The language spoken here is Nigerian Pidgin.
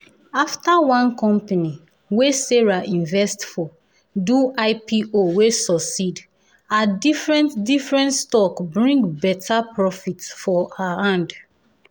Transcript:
after one company wey sarah invest for do ipo wey succeed her different different stocks bring better profit for her hand.